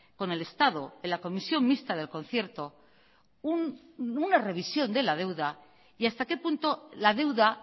con el estado en la comisión mixta del concierto una revisión de la deuda y hasta qué punto la deuda